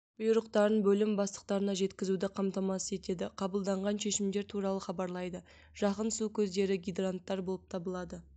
бұйрықтарын бөлім бастықтарына жеткізуді қамтамасыз етеді қабылданған шешімдер туралы хабарлайды жақын су көздері гидранттар болып табылады